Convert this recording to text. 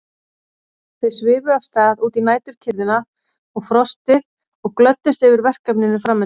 Þau svifu af stað út í næturkyrrðina og frostið og glöddust yfir verkefninu framundan.